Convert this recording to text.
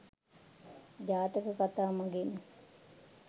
ජාතක කතා මඟින්